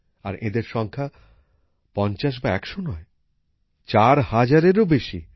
আর এদের সংখ্যা ৫০ বা ১০০ নয় ৪ হাজারেরও বেশি